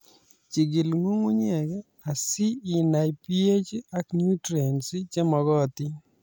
Jigil nyung'unyek asi inai PH ak nutrients che makotin